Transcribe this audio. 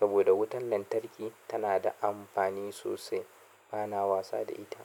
Saboda wutan lantarki tana da amfani sosai, bana wasa da ita.